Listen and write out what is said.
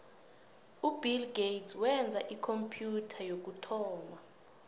ubill gates wenza ikhompyutha yokuthoma